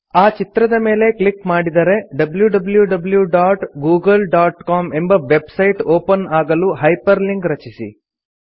ಆ ಚಿತ್ರದ ಮೇಲೆ ಕ್ಲಿಕ್ ಮಾಡಿದರೆ wwwgooglecom ಎಂಬ ವೆಬ್ ಸೈಟ್ ಒಪನ್ ಆಗಲು ಹೈಪರ್ ಲಿಂಕ್ ರಚಿಸಿ